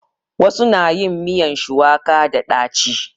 Wasu na yin miyan shuwaka da ɗaci.